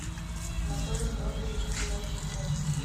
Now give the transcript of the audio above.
анатолий георгиевич кривощеков